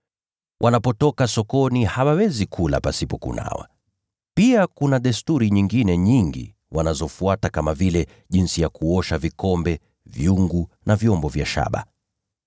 Wanapotoka sokoni hawawezi kula pasipo kunawa. Pia kuna desturi nyingine nyingi wanazofuata kama vile jinsi ya kuosha vikombe, vyungu na vyombo vya shaba.)